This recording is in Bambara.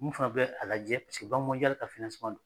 Min fana filɛ k'a lajɛ paseke banki mɔnjali ka finanseman don